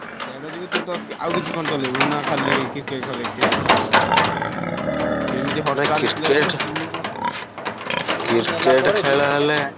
ଦେଢ GB ତୁ ତୋର ଆଉ କିଛି କଣ ଚଳେଇବୁନି ନା ଖାଲି Cricket ଖେଳ ଦେଖିତେ ପାଇଁ ଏମିତି Hotstar ।